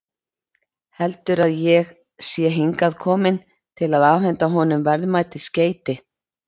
Heldur að ég sé hingað kominn til að afhenda honum verðmæt skeyti.